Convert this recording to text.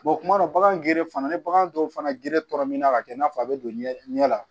kuma dɔ bagan geren fana ni bagan dɔw fana gere tɔrɔminna ka kɛ n'a fɔ a bɛ don ɲɛ la